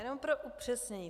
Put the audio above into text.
Jenom pro upřesnění.